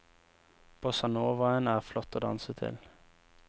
Bossanovaen er flott å danse til.